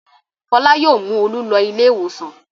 Fọlá yóò mú Olú lọ ilé-ìwòsàn.